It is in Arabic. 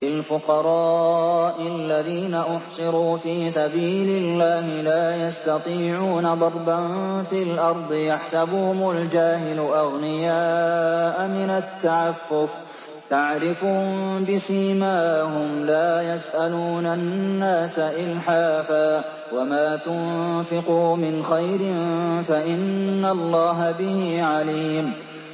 لِلْفُقَرَاءِ الَّذِينَ أُحْصِرُوا فِي سَبِيلِ اللَّهِ لَا يَسْتَطِيعُونَ ضَرْبًا فِي الْأَرْضِ يَحْسَبُهُمُ الْجَاهِلُ أَغْنِيَاءَ مِنَ التَّعَفُّفِ تَعْرِفُهُم بِسِيمَاهُمْ لَا يَسْأَلُونَ النَّاسَ إِلْحَافًا ۗ وَمَا تُنفِقُوا مِنْ خَيْرٍ فَإِنَّ اللَّهَ بِهِ عَلِيمٌ